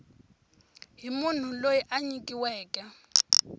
hi munhu loyi a nyikiweke